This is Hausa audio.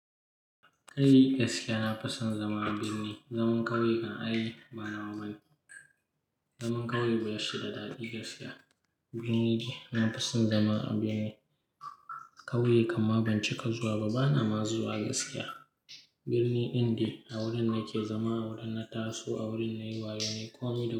Kai gaskiya na fason zama a birni, zaman ƙauye kan aiba nawa bane. Zaman ƙauye bashi da daɗi gaskiya. Birni nafison zama a birni. Ƙauye kam ma ban cika zuwa ba, bana ma zuwa gaskiya. Birni ɗin da a wurin nake zama, a wurin na taso, a wurin nayi waye ne komi da.